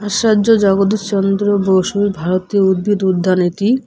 আসার্য জগদীশচন্দ্র বসু ভারতীয় উদ্ভিদ উদ্যান এটি।